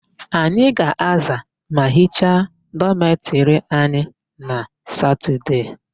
Anyị ga-aza ma hicha dọmetịrị anyị na satọdee.